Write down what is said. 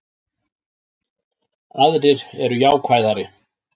Aðrir eru jákvæðari